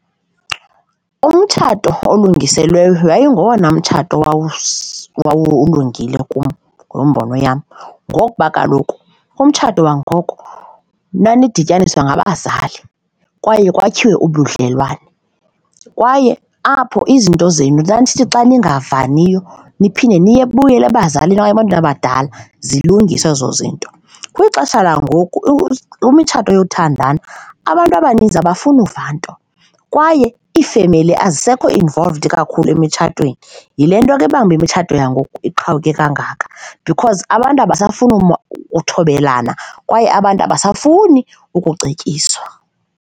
Umtshato olungiselelweyo yayingowona mtshato wawulungile kum ngembono yam, ngokuba kaloku umtshato wangoko nanidityaniswa ngabazali kwaye kwakhiwe ubudlelwane kwaye apho izinto zenu nanisithi xa ningavaniyo niphinde niye nibuyele ebazalini okanye ebantwini abadala, zilungiswe ezo zinto. Kwixesha langoku kwimitshato yothandana abantu abaninzi abafuni ukuva nto kwaye iifemeli azisekho involved kakhulu emitshatweni, yile nto ke ebangela imitshato yangoku iqhawuke kangaka because abantu abasafuni uthobelana kwaye abantu abasafuni ukucetyiswa.